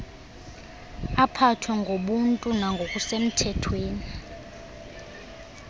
aphathwe ngobuntu nangokusemthethweni